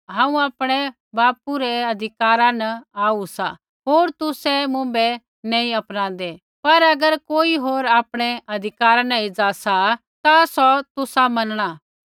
हांऊँ आपणै बापू रै अधिकारा न आऊ सा होर तुसै मुँभै नैंई अपनांदै पर अगर कोई होर आपणै अधिकारा न एज़ा सा ता सौ तुसा मनणा